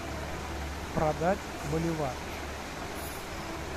продать боливар